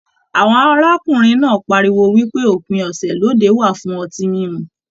Àwọn arákùnrin náà páríwó wípé òpin ọsẹ lóde wà fún ọtí mímu.